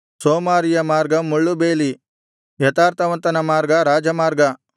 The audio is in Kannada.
ಸೋಮಾರಿಯ ಮಾರ್ಗ ಮುಳ್ಳುಬೇಲಿ ಯಥಾರ್ಥವಂತನ ಮಾರ್ಗ ರಾಜಮಾರ್ಗ